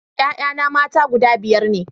Ƴaƴana mata guda biyar ne